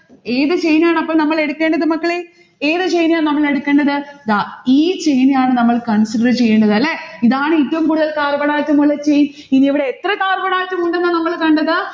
ഏതു chain ആണ് അപ്പോ നമ്മൾ എടുക്കേണ്ടത് മക്കളെ? ഏതു chain ആ നമ്മൾ എടുക്കേണ്ടത്? ദാ ഈ chain ആണ് നമ്മൾ consider ചെയ്യേണ്ടത് അല്ലെ? ഇതാണ് ഏറ്റവും കൂടുതൽ carbon atom ഉള്ള chain ഇനി ഇവിടെ എത്ര carbon atom ഉണ്ടെന്നാണ് നമ്മൾ കണ്ടത്?